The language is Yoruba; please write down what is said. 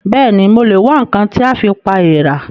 Bẹ́ẹ̀ni, mo lè wá ǹkan tí a fi pa èèrà